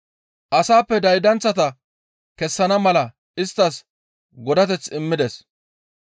Asaappe daydanththata kessana mala isttas godateth immides.